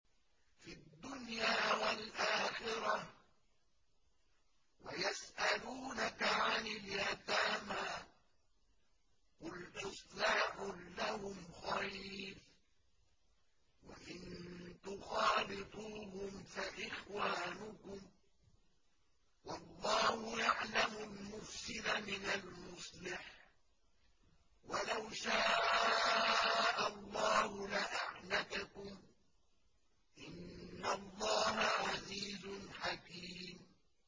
فِي الدُّنْيَا وَالْآخِرَةِ ۗ وَيَسْأَلُونَكَ عَنِ الْيَتَامَىٰ ۖ قُلْ إِصْلَاحٌ لَّهُمْ خَيْرٌ ۖ وَإِن تُخَالِطُوهُمْ فَإِخْوَانُكُمْ ۚ وَاللَّهُ يَعْلَمُ الْمُفْسِدَ مِنَ الْمُصْلِحِ ۚ وَلَوْ شَاءَ اللَّهُ لَأَعْنَتَكُمْ ۚ إِنَّ اللَّهَ عَزِيزٌ حَكِيمٌ